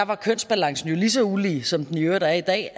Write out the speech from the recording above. var kønsbalancen jo lige så ulige som den i øvrigt er i dag